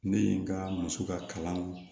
Ne ye n ka muso ka kalan